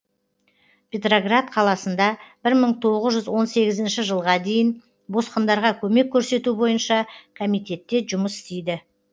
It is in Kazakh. петроград қаласында бір мың тоғыз жүз он сегізінші жылға дейін босқындарға көмек көрсету бойынша комитетте жұмыс істейді